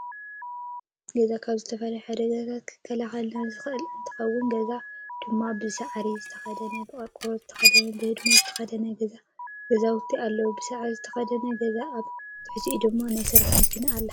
ገዛ ካብ ዝተፈላለዩ ሓደጋታተ ክከላከለልና ዝከእን እንትከውነ ገዛውቲ ድማ ብፃዕሪ ዝተከደኑን ብቆርኮሮ ዝተከደኑን ብህድም ዝተከደኑን ገዛውቲ ኣለው። ብሳዕሪ ዝተከደነ ገዛ ኣብ ትሕቲኡ ድማ ናይ ስራሕ መኪና ኣላ።